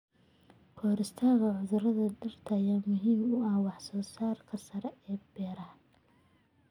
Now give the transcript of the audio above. Ka-hortagga cudurrada dhirta ayaa muhiim u ah wax-soo-saarka sare ee beeraha.